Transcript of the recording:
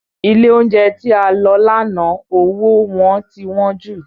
Ilé oúnjẹ tí a lọ lánàá owó wọn ti wọ́n jù